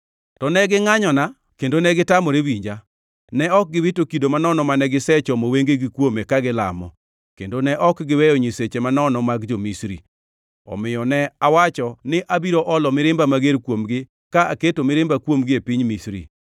To ne gingʼanyona kendo negitamore winja; ne ok giwito kido manono mane gisechomo wengegi kuome kagilamo, bende ne ok giweyo nyiseche manono mag jo-Misri. Omiyo ne awacho ni abiro olo mirimba mager kuomgi ka aketo mirimba kuomgi e piny Misri.